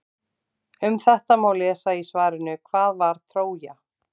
Um þetta má lesa í svarinu Hvað var Trója?